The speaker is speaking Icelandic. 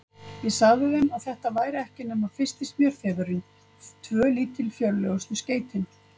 Ég sagði þeim, að þetta væri ekki nema fyrsti smjörþefurinn, tvö lítilfjörlegustu skeytin.